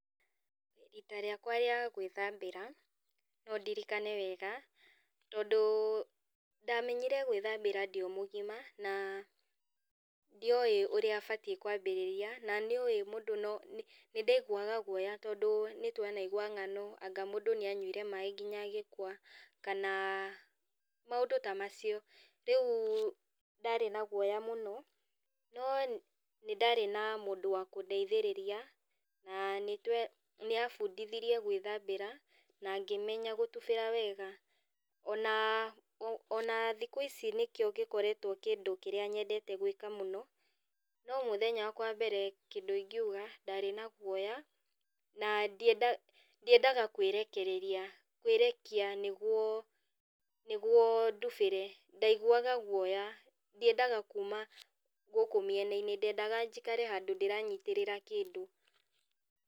Rita rĩakwa rĩa gwĩthambĩra, no ndirikane wega, tondũ ndamenyire gwĩthambĩra ndĩ o mũgima, na ndioĩ ũrĩa batiĩ kwambĩrĩria na nĩ ũĩ mũndũ no nĩndaiguaga guoya tondũ nĩtwanaigua ngano anga mũndũ nĩ anyuire maĩ nginya agĩkua, kana maũndũ ta macio. Rĩũ ndarĩ na guoya mũno, no nĩndarĩ na mũndũ wa kũndeithĩrĩria, na nĩtwe, nĩabundithirie gwĩthambĩra, na ngĩmenya gũtubĩra wega, ona ona thikũ ici nĩkĩo gĩkoretwo kĩndũ kĩrĩa nyendete gwĩka mũno, no mũthenya wakwa wa mbere kĩndũ ingiũga, ndarĩ na guoya, na ndienda ndiendaga kwĩrekereria, kwĩrekia nĩguo nĩguo ndubĩre, ndaiguga guoya, ndiendaga kuma gũkũ mĩenainĩ, ndendaga njikare handũ ndĩranyitĩrĩra kĩndũ.